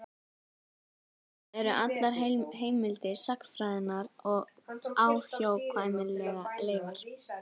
Þar með eru allar heimildir sagnfræðinnar óhjákvæmilega leifar.